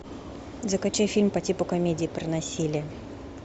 закачай фильм по типу комедии про насилие